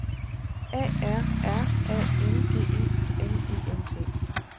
A R R A N G E M E N T